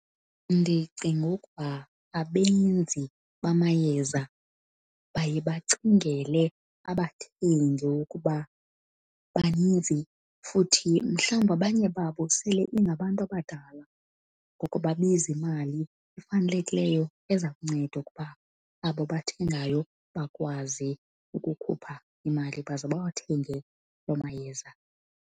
Ndicinga ukuba abenzi bamayeza baye bacingele abathengi ukuba baninzi futhi mhlawumbi abanye babo sele ingabantu abadala. Ngoku babiza imali efanelekileyo eza kunceda ukuba abo bathengayo bakwazi ukukhupha imali baze bawathenge loo mayeza.